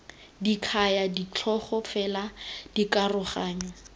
di kaya ditlhogo fela dikaroganyo